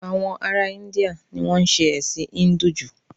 Àwọn ará Íńdíà ni wọn ń ṣe ẹ̀sìn Híńdù jù